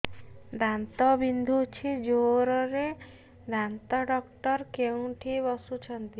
ଦାନ୍ତ ବିନ୍ଧୁଛି ଜୋରରେ ଦାନ୍ତ ଡକ୍ଟର କୋଉଠି ବସୁଛନ୍ତି